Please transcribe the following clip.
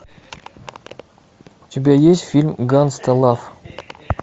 у тебя есть фильм гангста лав